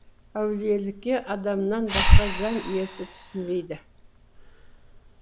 әулиелікке адамнан басқа жан иесі түсінбейді